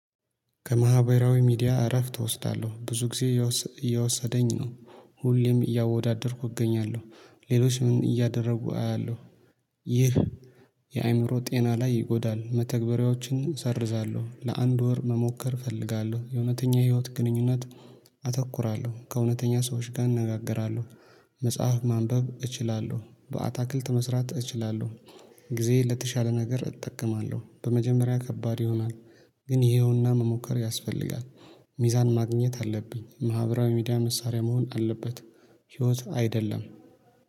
ከማህበራዊ ሚዲያ እረፍት እወስዳለሁ። ብዙ ጊዜ እየወሰ እየወሰደኝ ነው። ሁሌም እያወዳደርኩ እገኛለሁ። ሌሎች ምን እያደረጉ አያለሁ። ይህ የአእምሮ ጤና ላይ ይጎዳሉ። መተግበሪያዎችን ሰርዛለሁ። ለአንድ ወር መሞከር እፈልጋለሁ። የእውነተኛ ህይወት ግንኙነት አተኩራለሁ። ከእውነተኛ ሰዎች ጋር እነጋገራለሁ። መጽሐፍ ማንበብ እችላለሁ። በአታክልት መስራት እችላለሁ። ጊዜዬን ለተሻለ ነገር እጠቀማለሁ። በመጀመሪያ ከባድ ይሆናል። ግን ይሄውና መሞከር ያስፈልጋል። ሚዛን ማግኘት አለብኝ። ማህበራዊ ሚዲያ መሳሪያ መሆን አለበት፤ ህይወት አይደለም።